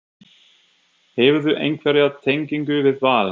Hefurðu einhverja tengingu við Val?